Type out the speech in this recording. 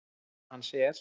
Saga hans er